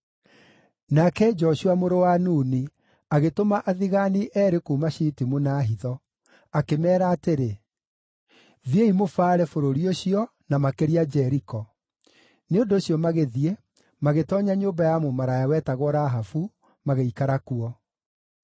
Nake Joshua mũrũ wa Nuni agĩtũma athigaani eerĩ kuuma Shitimu na hitho; akĩmeera atĩrĩ, “Thiĩi mũbaare bũrũri ũcio, na makĩria Jeriko.” Nĩ ũndũ ũcio magĩthiĩ, magĩtoonya nyũmba ya mũmaraya wetagwo Rahabu, magĩikara kuo.